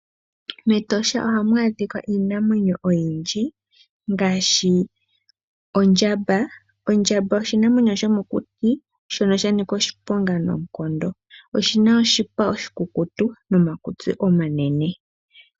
Metosha hamu adhikwa iinamwenyo oyindji ngaashi oondjamba. Oondjamba oshinamwenyo shomokuti shono shanika oshiponga noonkondo oshina oshipa oshikukutu nomakutsi omanene.